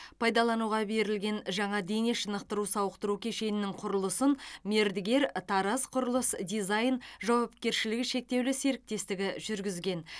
пайдалануға берілген жаңа дене шынықтыру сауықтыру кешенінің құрылысын мердігер тараз құрылыс дизайн жауапкершілігі шектеулі серіктестігі жүргізген